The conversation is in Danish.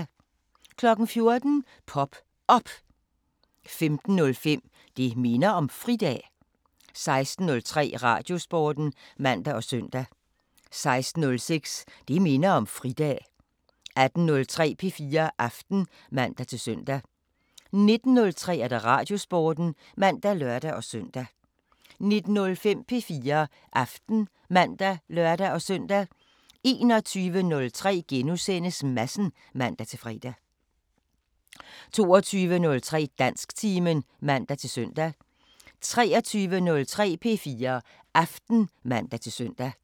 14:00: Pop Op 15:05: Det minder om fridag 16:03: Radiosporten (man og søn) 16:06: Det minder om fridag 18:03: P4 Aften (man-søn) 19:03: Radiosporten (man og lør-søn) 19:05: P4 Aften (man og lør-søn) 21:03: Madsen *(man-fre) 22:03: Dansktimen (man-søn) 23:03: P4 Aften (man-søn)